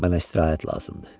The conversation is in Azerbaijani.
Mənə istirahət lazımdır.